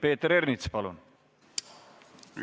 Peeter Ernits, palun!